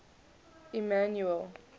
emmanuele